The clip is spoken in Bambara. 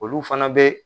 Olu fana bɛ